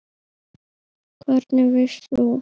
Hvernig veist þú.?